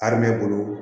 Ari bɛ ne bolo